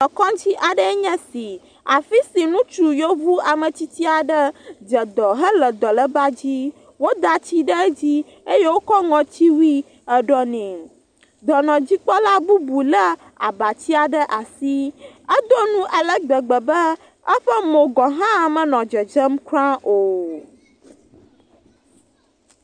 Ekɔdzi aɖe nye esi. Afi si ŋutsu yevu ame tsitsi aɖe dzedɔ hele dɔleba dzi wod tsi ɖe edzi eye wokɔ ŋɔtsiwui eɖɔ nɛ. Dɔnɔdikpɔla bubu le abatsia ɖe asi. Edo nu ale gbegbe be eƒe mo gahã menɔ dedzem o.